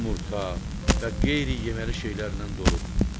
Yumurta və qeyri-yeməli şeylərdən doludur.